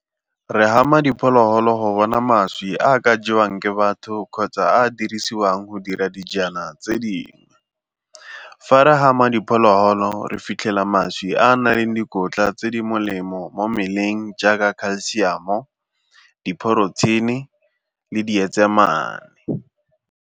Re gama diphologolo go bona mašwi a a ka jewang ke batho kgotsa a a dirisiwang go dira dijana tse dingwe. Fa re gama diphologolo re fitlhela mašwi a a nang le dikotla tse di molemo mo mmeleng jaaka calcium-o, di-protein-e le di .